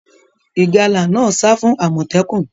Ìgalà náà sa fún àmòtẹ́kùn